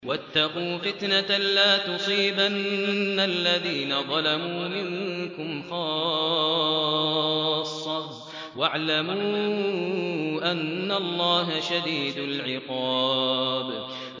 وَاتَّقُوا فِتْنَةً لَّا تُصِيبَنَّ الَّذِينَ ظَلَمُوا مِنكُمْ خَاصَّةً ۖ وَاعْلَمُوا أَنَّ اللَّهَ شَدِيدُ الْعِقَابِ